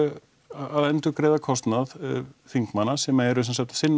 að endurgreiða kostnað þingmanna sem eru sem sagt að sinna